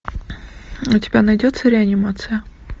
у тебя найдется реанимация